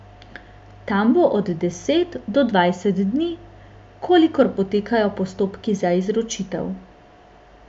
Tam bo od deset do dvajset dni, kolikor potekajo postopki za izročitev.